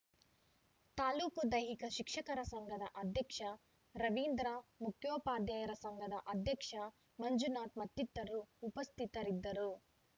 ತಾಲೂಕು ದೈಹಿಕ ಶಿಕ್ಷಕರ ಸಂಘದ ಅಧ್ಯಕ್ಷ ರವೀಂದ್ರ ಮುಖ್ಯೋಪಾಧ್ಯಾಯರ ಸಂಘದ ಅಧ್ಯಕ್ಷ ಮಂಜುನಾಥ್‌ ಮತ್ತಿತರರು ಉಪಸ್ಥಿತರಿದ್ದರು